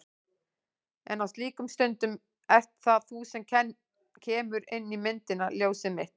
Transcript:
En á slíkum stundum ert það þú sem kemur inn í myndina. ljósið mitt.